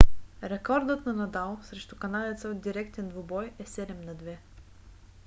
рекордът на надал срещу канадеца в директен двубой е 7–2